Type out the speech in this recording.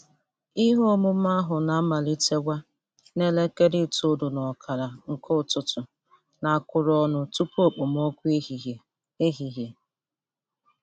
Ihe omume ahụ na-amalitewa n'elekere itolu n'okara.nke ụtụtụ na-akụrụ ọnụ tupu okpomọkụ ehihe. ehihe.